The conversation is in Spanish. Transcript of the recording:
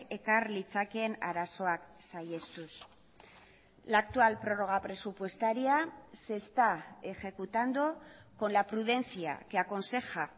ekar litzakeen arazoak saihestuz la actual prórroga presupuestaria se está ejecutando con la prudencia que aconseja